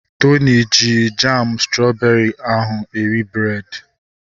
Tony ji jamu strọbeeri ahụ eri breed